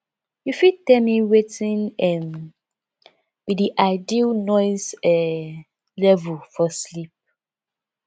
you fit tell me wetin um be di ideal noise um level for sleep